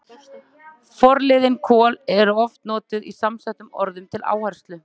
Forliðurinn kol- er oft notaður í samsettum orðum til áherslu.